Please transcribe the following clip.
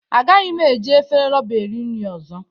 Agaghị m eji efere roba eri nri ọzọ